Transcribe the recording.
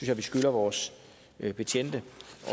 jeg vi skylder vores betjente